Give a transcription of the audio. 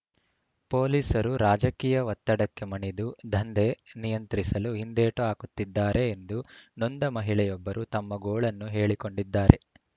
ಪೊಲೀಸರು ರಾಜಕೀಯ ಒತ್ತಡಕ್ಕೆ ಮಣಿದು ದಂಧೆ ನಿಯಂತ್ರಿಸಲು ಹಿಂದೇಟು ಹಾಕುತ್ತಿದ್ದಾರೆ ಎಂದು ನೊಂದ ಮಹಿಳೆಯೊಬ್ಬರು ತಮ್ಮ ಗೋಳನ್ನು ಹೇಳಿಕೊಂಡಿದ್ದಾರೆ